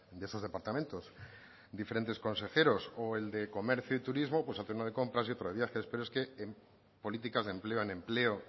de esos departamentos diferentes consejeros o el de comercio y turismo pues hacer uno de compras y otro de viajes pero es que en políticas de empleo en empleo